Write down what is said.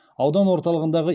аудан орталығындағы